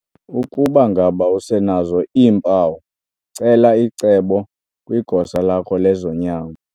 Ukuba ngaba usenazo iimpawu, cela icebo kwigosa lakho lezonyango.